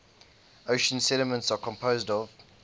ocean sediments are composed of